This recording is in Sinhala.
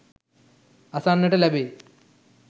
අසන්නට ලැබේ